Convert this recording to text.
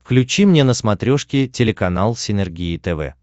включи мне на смотрешке телеканал синергия тв